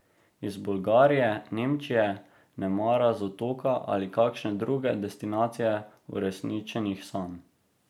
Iz Bolgarije, Nemčije, nemara z Otoka ali kakšne druge destinacije uresničenih sanj.